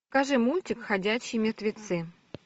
покажи мультик ходячие мертвецы